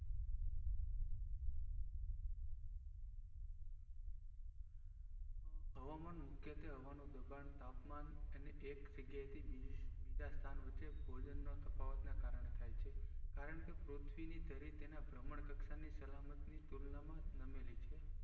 હવામાન મુખ્યત્વ હવાનું દબાણ તાપમાન અને એક જગ્યા થી બીજું ભોજન ના તફાવત ને ને કરણ ને થાય છે કારણ કે પૃથ્વી ની ધરી તેના બ્ર્હામણ કક્ષાના સલામત ની તુલના માં ફરી રહી છે